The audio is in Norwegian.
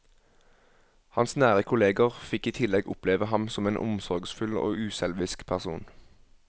Hans nære kolleger fikk i tillegg oppleve ham som en omsorgsfull og uselvisk person.